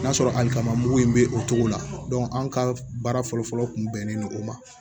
N'a sɔrɔ hali kama mugu in bɛ o cogo la anw ka baara fɔlɔfɔlɔ kun bɛnnen don o ma